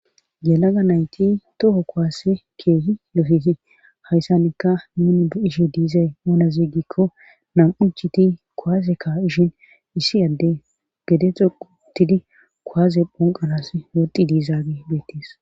yelaga nayti toho kowaasse keehi yofeti hayssanikka nuni bu7ishi diizay monaziiggikko nam7u chiti kowaaseka ishin issi adde gede xoqutidi kowaze phonqanas woddi diizaagi beettis